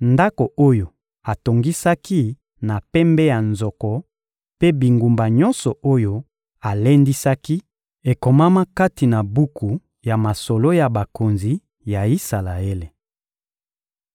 ndako oyo atongisaki na pembe ya nzoko mpe bingumba nyonso oyo alendisaki, ekomama kati na buku ya masolo ya bakonzi ya Isalaele.